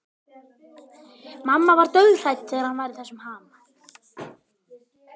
Mamma var dauðhrædd þegar hann var í þessum ham.